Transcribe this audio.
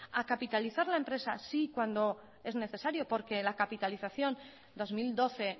a capitalizar la empresa sí cuando es necesario porque la capitalización dos mil doce